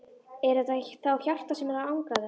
Er þetta þá hjartað sem er að angra hana?